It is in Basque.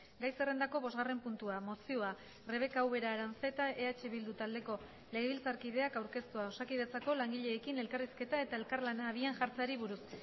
gai zerrendako bosgarren puntua mozioa rebeka ubera aranzeta eh bildu taldeko legebiltzarkideak aurkeztua osakidetzako langileekin elkarrizketa eta elkarlana abian jartzeari buruz